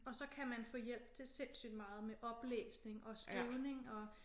Og så kan man få hjælp til sindssygt meget med oplæsning og skrivning og